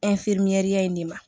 in de ma